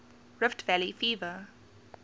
rift valley fever